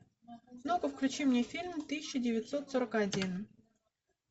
ну ка включи мне фильм тысяча девятьсот сорок один